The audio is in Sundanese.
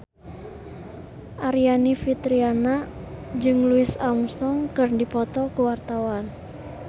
Aryani Fitriana jeung Louis Armstrong keur dipoto ku wartawan